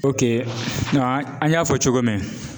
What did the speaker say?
an an y'a fɔ cogo min